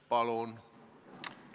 Palun!